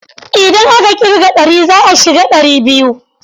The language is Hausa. Idan aka ƙirga ɗari za a shiga ɗari biyu.